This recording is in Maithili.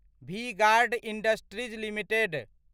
V Guard Industries limited